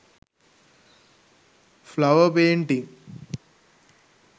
flower painting